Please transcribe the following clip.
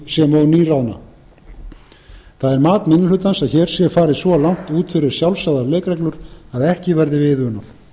nýráðna það er mat minni hlutans að hér sé farið svo langt út fyrir sjálfsagðar leikreglur að ekki verði við unað